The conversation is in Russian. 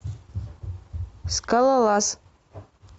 скалолаз